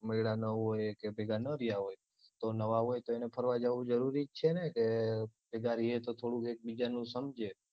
મળ્યાં ન હોય કે ભેગાં ન રહ્યા હોય તો નવા હોય તો ફરવા જાવું જરૂરી જ છે ને કે ભેગાં રિયે તો થોડુંક એક બીજાનું સમજે